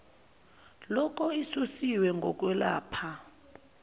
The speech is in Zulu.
loko isusiwe ngokwelapha